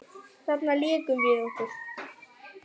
Þarna lékum við okkur.